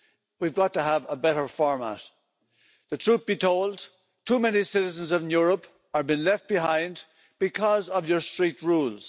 We've got to have a better format. The truth be told, too many citizens of Europe are being left behind because of your strict rules.